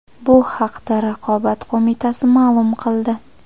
Bu haqda Raqobat qo‘mitasi ma’lum qildi .